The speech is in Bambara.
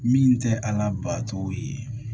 Min tɛ a labato ye